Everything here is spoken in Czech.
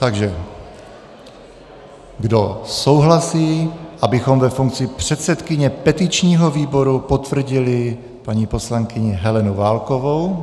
Takže kdo souhlasí, abychom ve funkci předsedkyně petičního výboru potvrdili paní poslankyni Helenu Válkovou.